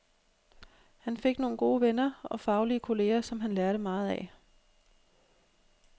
Han fik nogle gode venner og faglige kolleger, som han lærte meget af.